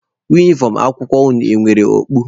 Unifọm akwụkwọ unu e nwere okpu?